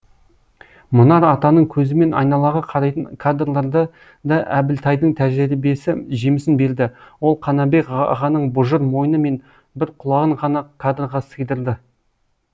мұнар атаның көзімен айналаға қарайтын кадрларды да әбілтайдың тәжірибесі жемісін берді ол қанабек ағаның бұжыр мойны мен бір құлағын ғана кадрға сыйдырды